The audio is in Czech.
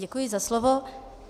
Děkuji za slovo.